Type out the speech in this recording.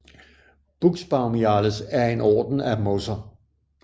Buxbaumiales er en orden af mosser